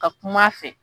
Ka kuma a fɛ